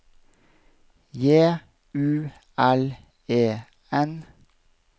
J U L E N